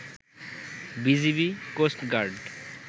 BGB, coast guard